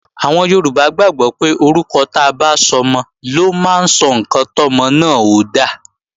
Àwọn Yorùbá gbàgbọ́ pé orúkọ ta bá sọmọ ló máa sọ ǹkan tọ́mọ náà ó dà